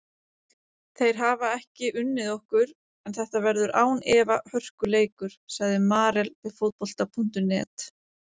Þeir hafa ekki unnið okkur en þetta verður án efa hörkuleikur, sagði Marel við Fótbolta.net.